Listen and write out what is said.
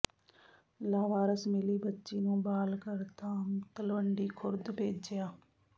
ਲਾਵਾਰਸ ਮਿਲੀ ਬੱਚੀ ਨੂੰ ਬਾਲ ਘਰ ਧਾਮ ਤਲਵੰਡੀ ਖੁਰਦ ਭੇਜਿਆ